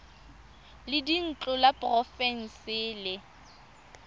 la dintlo la porofense le